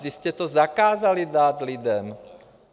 Vy jste to zakázali dát lidem.